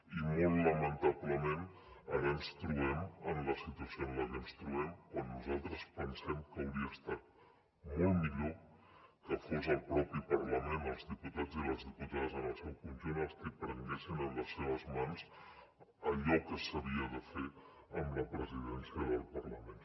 i molt lamentablement ara ens trobem en la situació en la que ens trobem quan nosaltres pensem que hauria estat molt millor que fos el propi parlament els diputats i les diputades en el seu conjunt els qui prenguessin en les seves mans allò que s’havia de fer amb la presidència del parlament